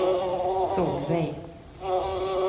Solveig